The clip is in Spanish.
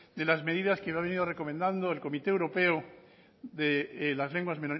de las medidas que han venido recomendando el comité europeo de las lenguas